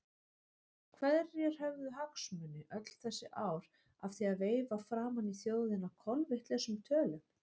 Hverjir höfðu hagsmuni öll þessi ár af því að veifa framan í þjóðina kolvitlausum tölum?